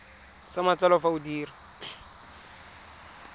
sa matsalo fa o dira